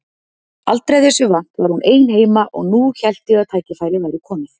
Aldrei þessu vant var hún ein heima og nú hélt ég að tækifærið væri komið.